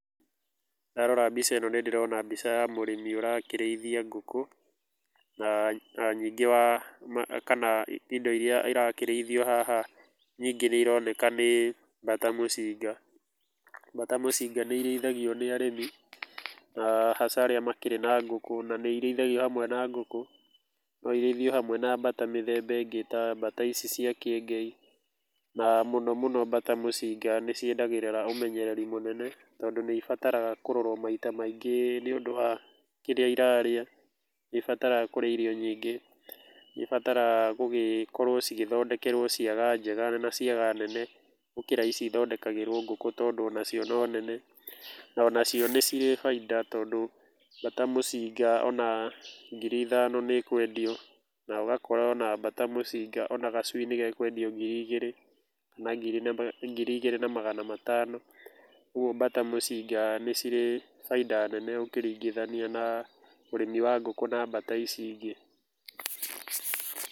Ndarora mbica ĩno nĩ ndĩrona mbica ya mũrĩmi ũrakĩrĩithia ngũkũ, na na ningĩ wa kana indo iria irakĩrĩithio haha nyingĩ nĩ ironeka nĩ mbata mũcinga, mbata mũcinga nĩ irĩithagio nĩ arĩmi, na hasa arĩa makĩrĩ na ngũkũ, na nĩ irĩithagio hamwe na ngũkũ, no irĩithio hamwe na mbata mĩthemba ĩngĩ ta mbata ici cia kĩengei, na mũno mũno mbata mũcinga nĩ ciendagĩrĩra ũmenyereri mũnene, tondũ nĩ ibataraga kũrorwo maita maingĩ nĩ ũndũ wa kĩrĩa irarĩa, nĩ ibataraga kũrĩa irio nyingĩ, nĩ ibataraga kũgĩkorwo igĩthondekerwo ciaga njega na ciaga nene gũkĩra ici ithondekagĩrwo ngũkũ, tondũ onacio no nene, ona cio nĩ cirĩ bainda, tondũ mbata mũcinga ona ngiri ithano nĩ ĩkwendio, na ũgakora ona mbata mũcinga ona gacui nĩ ga kwendio ngiri igĩrĩ kana ngiri na ngiri igĩrĩ na magana matano, ũguo mbata mũcinga nĩ cirĩ bainda nene ũkĩringithania na ũrĩmi wa ngũkũ na mbata ici ingĩ.